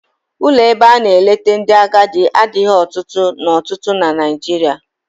Ụlọ ebe a na-eleta ndị agadi adịghị ọtụtụ n'ọtụtụ na Nigeria.